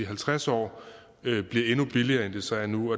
halvtreds år bliver endnu billigere end det så er nu